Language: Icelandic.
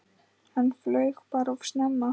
Hann flaug bara of snemma.